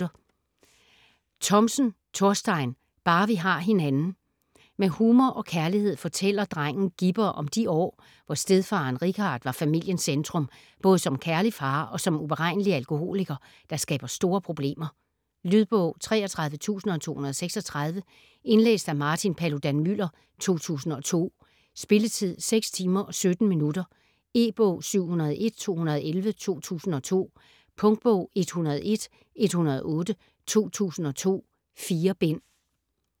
Thomsen, Thorstein: Bare vi har hinanden Med humor og kærlighed fortæller drengen Gibber om de år, hvor stedfaderen Richard var familiens centrum - både som kærlig far og som uberegnelig alkoholiker, der skaber store problemer. Lydbog 33236 Indlæst af Martin Paludan-Müller, 2002. Spilletid: 6 timer, 17 minutter. E-bog 701211 2002. Punktbog 101108 2002. 4 bind.